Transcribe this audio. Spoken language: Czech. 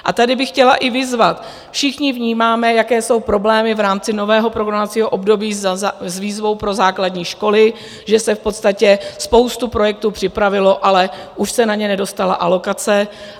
A tady bych chtěla i vyzvat - všichni vnímáme, jaké jsou problémy v rámci nového programovacího období s výzvou pro základní školy, že se v podstatě spoustu projektů připravilo, ale už se na ně nedostala alokace.